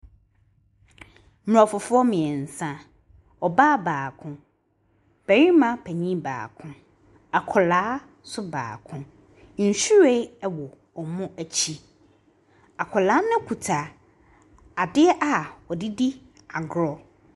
Aborɔfoɔ mmiɛnsa, ɔbaa baako, barima panin baako, akwadaa nso baako. Nhyiren wɔ wɔn akyi. Akwadaa no kita ade a ɔde di agorɔ.